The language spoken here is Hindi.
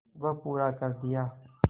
वह पूरा कर दिया